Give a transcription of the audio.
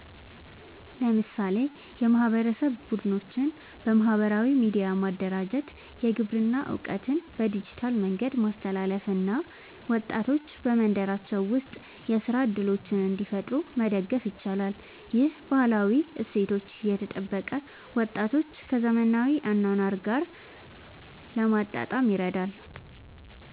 ለምሳሌ የማህበረሰብ ቡድኖችን በማህበራዊ ሚዲያ ማደራጀት፣ የግብርና እውቀትን በዲጂታል መንገድ ማስተላለፍ እና ወጣቶች በመንደራቸው ውስጥ የሥራ እድሎችን እንዲፈጥሩ መደገፍ ይቻላል። ይህ ባህላዊ እሴቶችን እየጠበቀ ወጣቶችን ከዘመናዊ አኗኗር ጋር ለማጣጣም ይረዳል።